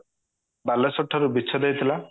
ବାଲେଶ୍ଵର ଠାରୁ ବିଚ୍ଛେଦ ହୋଇଥିଲା